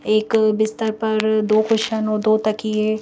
एक बिस्तर पर दो क्वेश्चन और दो तकिए--